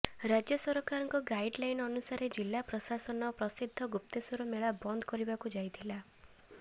ରାଜ୍ୟ ସରକାରଙ୍କ ଗାଇଡ୍ଲାଇନ୍ ଅନୁସାରେ ଜିଲ୍ଲାପ୍ରଶାନ ପ୍ରସିଦ୍ଧ ଗୁପ୍ତେଶ୍ୱର ମେଳା ବନ୍ଦ କରିବାକୁ ଯାଇଥିଲା